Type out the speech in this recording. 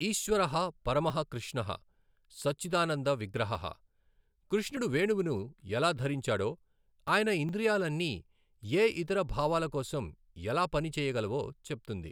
ఈశ్వరః పరమః కృష్ణః సచ్చిదానంద విగ్రహః, కృష్ణుడు వేణువును ఎలా ధరించాడో, ఆయన ఇంద్రియాలన్నీ ఏ ఇతర భావాల కోసం ఎలా పని చేయగలవో చెప్తుంది.